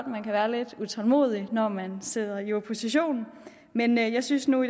man kan være lidt utålmodig når man sidder i opposition men jeg synes nu